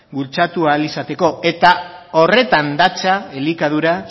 bultzatu ahal izateko eta horretan datza elikadura